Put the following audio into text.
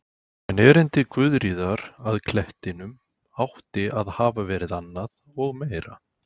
En erindi Guðríðar að klettinum átti að hafa verið annað og meira.